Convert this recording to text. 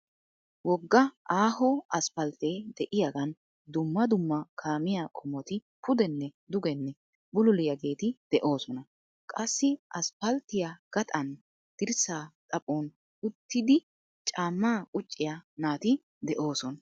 Wogga aaho aspalttee de'iyaagan dumma dumma kaamiya qomot pudenne dugenne bululiyaageeti de'oosona. Qassi aspalttiya gaxaan dirssaa xaphon uttidi caammaa qucciya naati de'oosona.